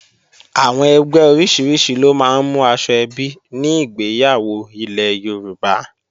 Àwọn ẹgbẹ́ oríṣiríṣi ló máa ń mú aṣọ ẹbí ní ìgbéyàwó ilẹ̀ Yorùbá